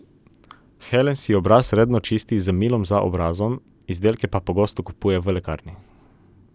Helen si obraz redno čisti z milom za obrazom, izdelke pa pogosto kupuje v lekarni.